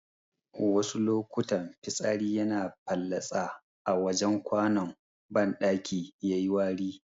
Wasu lokutan fitsari yana fallatsa a wajen kwanon banɗaki yayiwari